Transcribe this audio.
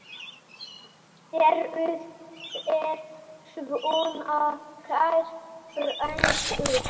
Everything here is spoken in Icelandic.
Eruð þér svona kær drengur?